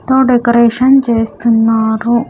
తో డెకరేషన్ చేస్తున్నారు.